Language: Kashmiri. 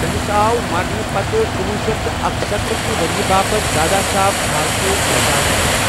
تمِس آو مرنہٕ پتہٕ کُنۄہ شیتھ اکَستتھ كہِ وریہ باپت دادا صاحب پھالکے اعزاز دِنہٕ ۔